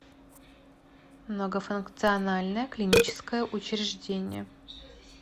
многофункциональное клиническое учреждение